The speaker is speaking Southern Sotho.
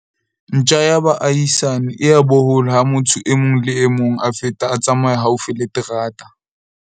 ntja ya baahisani e a bohola ha motho e mong le e mong a feta a tsamaya haufi le terata